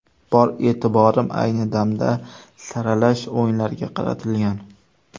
Bor e’tiborim ayni damda saralash o‘yinlariga qaratilgan.